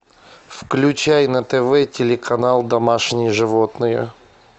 включай на тв телеканал домашние животные